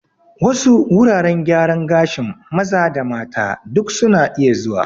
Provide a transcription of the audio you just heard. Wasu wuraren gyaran gashin maza da mata duk suna iya zuwa